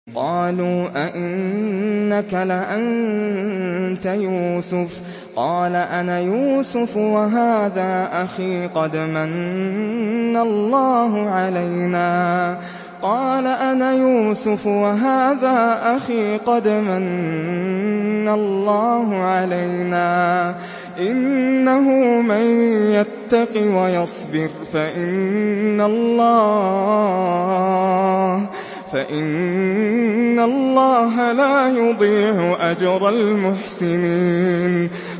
قَالُوا أَإِنَّكَ لَأَنتَ يُوسُفُ ۖ قَالَ أَنَا يُوسُفُ وَهَٰذَا أَخِي ۖ قَدْ مَنَّ اللَّهُ عَلَيْنَا ۖ إِنَّهُ مَن يَتَّقِ وَيَصْبِرْ فَإِنَّ اللَّهَ لَا يُضِيعُ أَجْرَ الْمُحْسِنِينَ